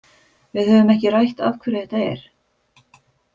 Við höfum ekki rætt af hverju þetta er.